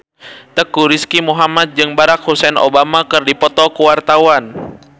Teuku Rizky Muhammad jeung Barack Hussein Obama keur dipoto ku wartawan